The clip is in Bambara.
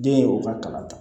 Den ye u ka kalan ta